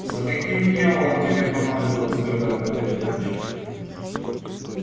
за каким дьяволом тебе понадобилось плевать на передатчик